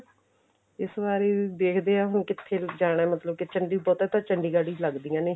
ਇਸ ਵਾਰੀ ਦੇਖਦੇ ਆਂ ਹੁਣ ਕਿੱਥੇ ਜਾਣਾ ਮਤਲਬ ਕਿੱਥੇ ਕੀ ਬਹੁਤਾ ਤਾਂ ਚੰੜੀਗਡ ਹੀ ਲੱਗਦੀਆਂ ਨੇ